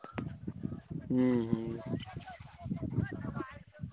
ହୁଁ ହୁଁ